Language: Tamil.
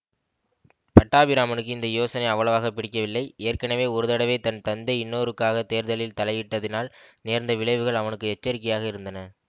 பட்டாபிராமனுக்கு இந்த யோசனை அவ்வளவாக பிடிக்கவில்லை ஏற்கெனவே ஒரு தடவை தன் தந்தை இன்னொருக்காகத் தேர்தலில தலையிட்ட தினால் நேர்ந்த விளைவுகள் அவனுக்கு எச்சரிக்கையாக இருந்தன